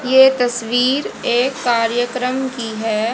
ये तस्वीर एक कार्यक्रम की है।